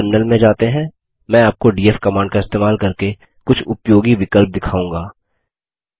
चलिए टर्मिनल में जाते हैं मैं आपको डीएफ कमांड का इस्तेमाल करके कुछ उपयोगी विकल्प दिखाऊँगा